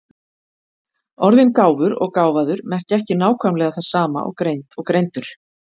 Orðin gáfur og gáfaður merkja ekki nákvæmlega það sama og greind og greindur.